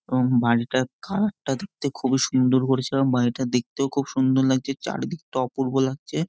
এবং বাড়িটার কালারটা দেখতে খুব সুন্দর এবং বাড়িটা দেখতে খুব সুন্দর লাগছে চারিদিকটা অপূর্ব লাগছে।